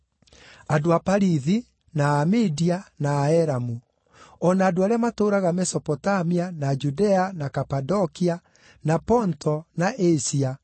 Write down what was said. Andũ a Parithi, na a Media, na a Elamu; o na andũ arĩa matũũraga Mesopotamia, na Judea, na Kapadokia, na Ponto, na Asia,